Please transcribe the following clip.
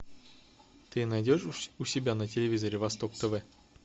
ты найдешь у себя на телевизоре восток тв